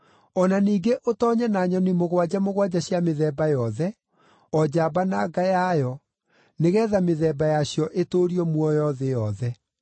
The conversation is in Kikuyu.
o na ningĩ ũtoonye na nyoni mũgwanja mũgwanja cia mĩthemba yothe, o njamba na nga yayo, nĩgeetha mĩthemba yacio ĩtũũrio muoyo thĩ yothe.